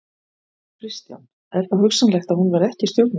Kristján: Er þá hugsanlegt að hún verði ekki í stjórninni?